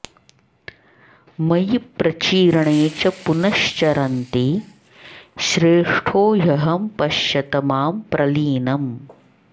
मयि प्रचीर्णे च पुनश् चरन्ति श्रेष्ठो ह्यहं पश्यत मां प्रलीनम्